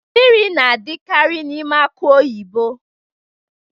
Mmiri na-adikari n'ime aki oyibo.